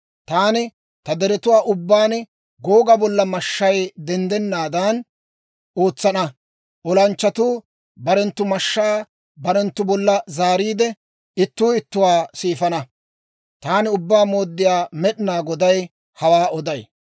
Taani ta deretuwaa ubbaan Googa bolla mashshay denddanaadan ootsana; olanchchatuu barenttu mashshaa barenttu bolla zaariide, ittuu ittuwaa siifana. Taani Ubbaa Mooddiyaa Med'inaa Goday hawaa oday.